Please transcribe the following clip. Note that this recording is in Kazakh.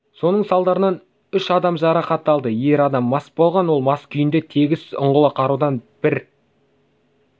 соның салдарынан үш адам жарақат алды ер адам мас болған ол мас күйінде тегіс ұңғылы қарудан бір